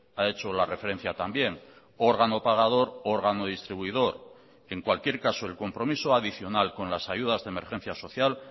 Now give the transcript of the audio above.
ha hecho la referencia también órgano pagador órgano distribuidor en cualquier caso el compromiso adicional con las ayudas de emergencia social